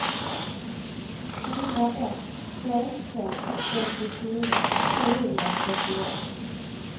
fyra ett tre tre femtiofyra sjuhundratrettioett